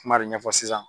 Kuma de ɲɛfɔ sisan